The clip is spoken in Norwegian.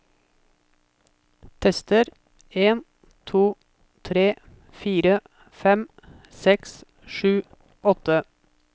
Tester en to tre fire fem seks sju åtte